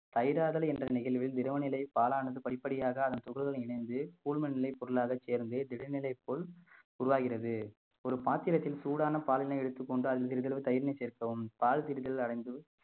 தயிர் ஆதல் என்ற நிகழ்வில் திரவ நிலை பாலானது படிப்படியாக அதன் துகள்களுடன் இணைந்து குழும நிலை பொருளாக சேர்ந்து திடநிலைப் போல் உருவாகிறது ஒரு பாத்திரத்தில் சூடான பாலினை எடுத்துக் கொண்டால் சிறிதளவு தயிரினை சேர்க்கவும் பால் திரிதல் அடைந்து